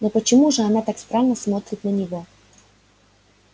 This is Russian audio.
но почему же она так странно смотрит на него